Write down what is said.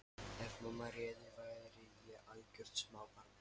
Ef mamma réði væri ég algjört smábarn.